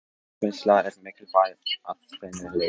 Fiskvinnsla er mikilvæg að þrennu leyti.